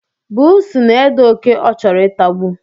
Bụụsu na-ede oké ọ chọrọ itagbu